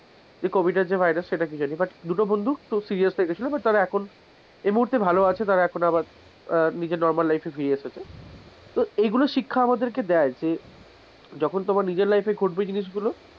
যে covid যে virus সেটা কি জানি, but যে দুটো বন্ধু তো serious হয়েগিয়েছিল but তারা এখন এই মুহূর্তে ভালো আছে, normal life এ ফিরে এসেছে, তো এইগুলো শিক্ষা আমাদেরকে দেয় যে যখন তোমার নিজের life এ ঘটবে,